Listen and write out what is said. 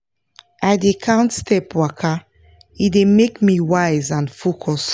i dey count step waka e dey make me wise and focus